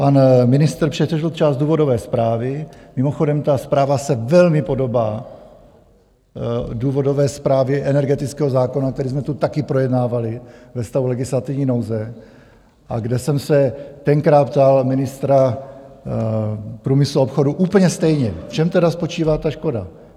Pan ministr přečetl část důvodové zprávy, mimochodem ta zpráva se velmi podobá důvodové zprávě energetického zákona, který jsme tu taky projednávali ve stavu legislativní nouze a kde jsem se tenkrát ptal ministra průmyslu a obchodu úplně stejně, v čem tedy spočívá ta škoda.